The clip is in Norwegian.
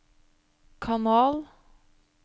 kanal